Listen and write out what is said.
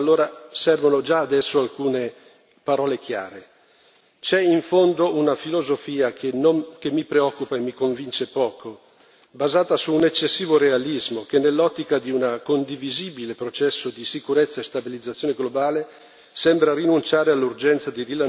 C'è in fondo una filosofia che mi preoccupa e mi convince poco, basata su un eccessivo realismo che, nell'ottica di un condivisibile processo di sicurezza e stabilizzazione globale, sembra rinunciare all'urgenza di rilanciare il processo di democratizzazione ed estensione dei diritti.